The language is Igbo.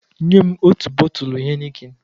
Nye m ọtu bọtulụ heineken